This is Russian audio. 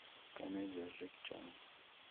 комедия с джеки чаном